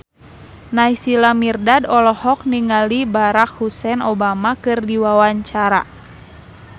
Naysila Mirdad olohok ningali Barack Hussein Obama keur diwawancara